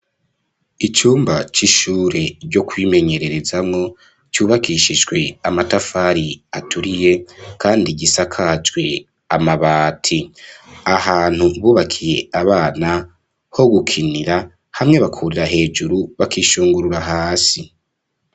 Icumba c'ishure ryo kwimenyererezamwo cubakishijwe amatafari aturiye kandi gisakajwe amabati ahantu bubakiye abana ho gukinira hamwe bakurira hejuru bakishungurura hasi.